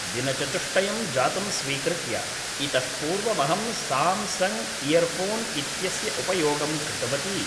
दिनचतुष्टयं जातं स्वीकृत्य, इतः पूर्वमहं साम्सङ्ग् इयर्फ़ोन् इत्यस्य उपयोगं कृतवती